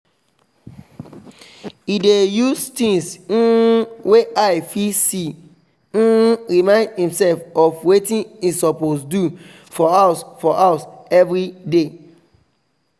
e dey use things um wey eye fit see um remind himself of watin e suppose do for house for house everyday